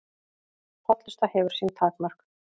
Hollusta hefur sín takmörk